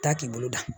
Taa k'i bolo da